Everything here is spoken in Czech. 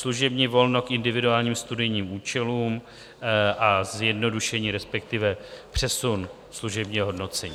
Služební volno k individuálním studijním účelům a zjednodušení, respektive přesun, služebního hodnocení.